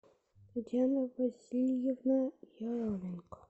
татьяна васильевна еременко